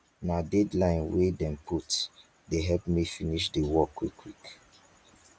na deadline wey dem put dey help me finish di work quickquick